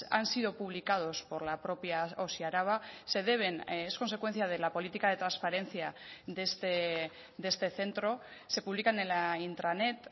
han sido publicados por la propia osi araba se deben es consecuencia de la política de transparencia de este centro se publican en la intranet